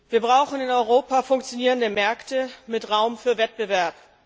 Wir brauchen in Europa funktionierende Märkte mit Raum für Wettbewerb.